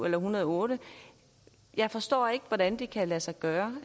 en hundrede og otte jeg forstår ikke hvordan det kan lade sig gøre